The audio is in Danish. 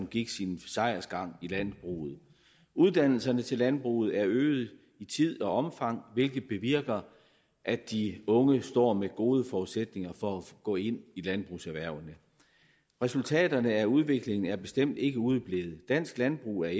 gik sin sejrsgang i landbruget uddannelserne til landbruget er øget i tid og omfang hvilket bevirker at de unge står med gode forudsætninger for at gå ind i landbrugserhvervene resultaterne af udviklingen er bestemt ikke udeblevet dansk landbrug er